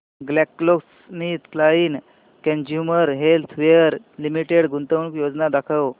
GlaxoSmithKline consumer healthcare limited गुंतवणूक योजना दाखव